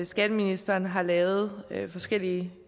skatteministeren har lavet forskellige